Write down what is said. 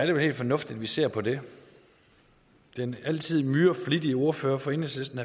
jo helt fornuftigt at vi ser på det den altid myreflittige ordfører for enhedslisten